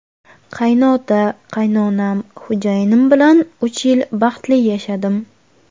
Qaynota, qaynonam, xo‘jayinim bilan uch yil baxtli yashadim.